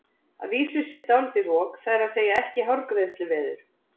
Að vísu sé dálítið rok, það er að segja ekki hárgreiðsluveður.